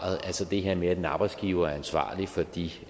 det her med at en arbejdsgiver er ansvarlig for de